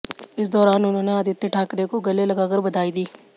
इस दौरान उन्होंने आदित्य ठाकरे को गले लगाकर बधाई दी